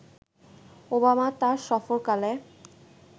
Obama তার সফরকালে